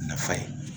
Nafa ye